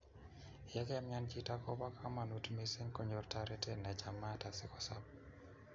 Ye kaimian chito, koba kamanut mising konyor toretet nechamaat asikosob